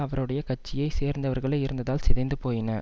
அவருடைய கட்சியை சேர்ந்தவர்களே இருந்ததால் சிதைந்து போயின